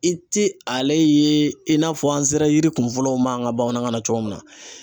I ti ale ye in'a fɔ an sera yiri kunfɔlɔw ma an ka bamanankan na cogo min na